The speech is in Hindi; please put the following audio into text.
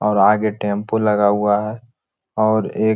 और आगे टेम्पु लगा हुआ है और एक --